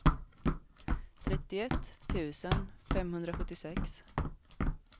trettioett tusen femhundrasjuttiosex